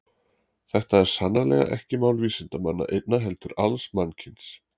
Þetta er sannarlega ekki mál vísindamanna einna heldur alls mannkyns.